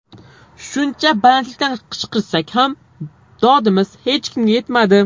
Shuncha balandlikdan qichqirsak ham dodimiz hech kimga yetmadi.